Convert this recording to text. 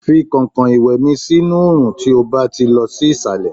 fi kankan iwe mi sí inú orun tí o ba ti lọ sí isale